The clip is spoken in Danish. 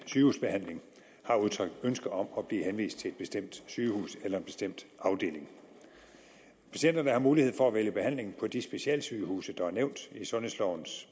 sygehusbehandling har udtrykt ønske om at blive henvist til et bestemt sygehus eller en bestemt afdeling patienterne har mulighed for at vælge behandling på de specialsygehuse der er nævnt i sundhedslovens